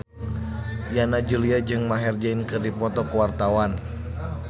Yana Julio jeung Maher Zein keur dipoto ku wartawan